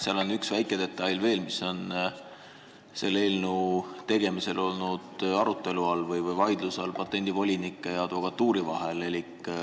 Aga on üks väike detail, mis on selle eelnõu tegemisel patendivolinike ja advokatuuri vahel vaidluse all olnud.